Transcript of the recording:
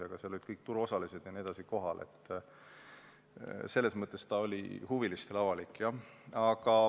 Aga kuna seal olid kohal kõik turuosalised jt, siis selles mõttes oli see huvilistele avalik.